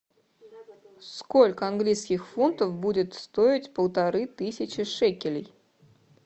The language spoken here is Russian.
сколько английских фунтов будет стоить полторы тысячи шекелей